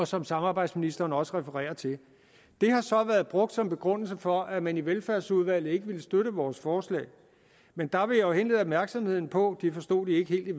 som samarbejdsministeren også refererer til det har så været brugt som begrundelse for at man i velfærdsudvalget ikke ville støtte vores forslag men der vil jeg jo henlede opmærksomheden på det forstod de ikke helt i